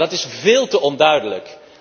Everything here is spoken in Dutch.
Maar dat is veel te onduidelijk.